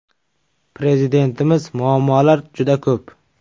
Prezidentimiz muammolar juda ko‘p.